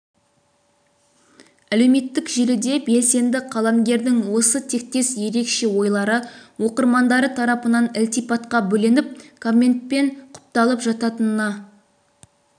әлеуметтік желіде белсенді қаламгердің осы тектес ерекше ойлары оқырмандары тарапынан ілтипатқа бөленіп комментпен құпталып жататынына